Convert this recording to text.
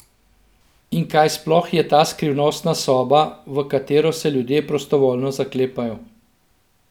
In kaj sploh je ta skrivnostna soba, v katero se ljudje prostovoljno zaklepajo?